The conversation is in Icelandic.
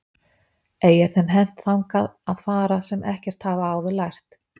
Ei er þeim hent þangað að fara sem ekkert hafa áður lært.